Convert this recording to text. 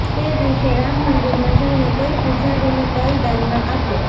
તે દિવસે રામ મંદિરમાં જઈને કોઈ પુજારીને તલ દાનમાં આપો